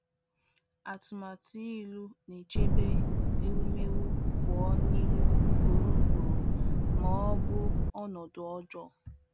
Atụmatụ ịlụ na-echebe ewumewụ pụọ n’ịlụ ugboro ugboro ma ọ bụ ọnọdụ ọjọọ.